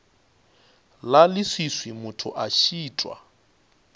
la leswiswi motho a šitwa